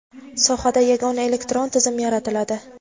Sohada yagona elektron tizim yaratiladi;.